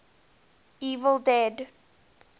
evil dead